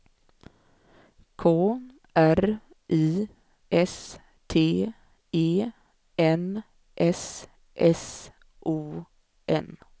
K R I S T E N S S O N